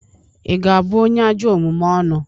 Ị ga-abu onye ajọ omume ọnụ?